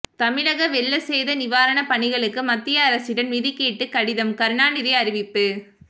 தமிழக வெள்ள சேத நிவாரண பணிகளுக்கு மத்திய அரசிடம் நிதி கேட்டு கடிதம் கருணாநிதி அறிவிப்பு